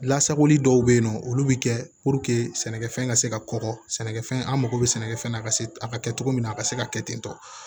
Lasagoli dɔw be yen nɔ olu bi kɛ sɛnɛkɛfɛn ka se ka kɔgɔ sɛnɛkɛfɛn an mago be sɛnɛkɛfɛn na ka se a ka kɛ cogo min na a ka se ka kɛ ten tɔ